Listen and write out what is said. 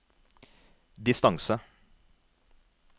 distance